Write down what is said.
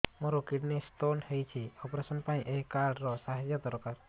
ମୋର kidney stone ହଇଛି operation ପାଇଁ ଏହି କାର୍ଡ ର ସାହାଯ୍ୟ ଦରକାର